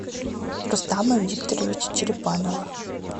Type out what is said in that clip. рустама викторовича черепанова